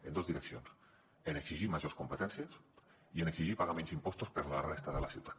en dos direccions en exigir majors competències i en exigir pagar menys impostos per a la resta de la ciutat